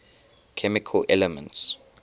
chemical elements